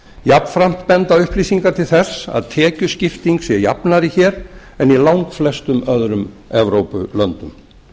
jafnframt benda upplýsingar til þess að tekjuskipting sé jafnari hér en í langflestum öðrum evrópulöndum